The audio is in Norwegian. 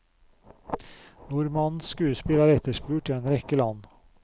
Nordmannens skuespill er etterspurt i en rekke land.